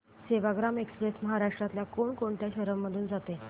Sevagram express महाराष्ट्रातल्या कोण कोणत्या शहरांमधून जाते